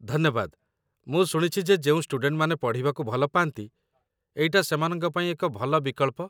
ଧନ୍ୟବାଦ, ମୁଁ ଶୁଣିଛି ଯେ ଯେଉଁ ଷ୍ଟୁଡେଣ୍ଟମାନେ ପଢ଼ିବାକୁ ଭଲ ପାଆନ୍ତି, ଏଇଟା ସେମାନଙ୍କ ପାଇଁ ଏକ ଭଲ ବିକଳ୍ପ